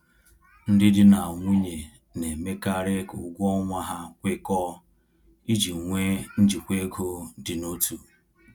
Ndị di na nwunye na-emekarị ka ụgwọ ọnwa ha kwekọọ iji nwee njikwa ego dị n’otu.